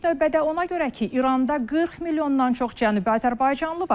İlk növbədə ona görə ki, İranda 40 milyondan çox cənubi azərbaycanlı var.